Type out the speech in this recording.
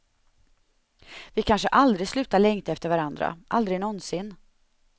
Vi kanske aldrig slutar längta efter varandra, aldrig någonsin.